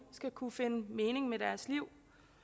skal kunne finde mening med deres liv